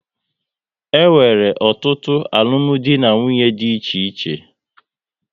E nwere ọtụtụ alụmdi na nwunye dị iche iche